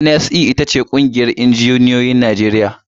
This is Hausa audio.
NSE ita ce ƙungiyar injinioyin Najeriya.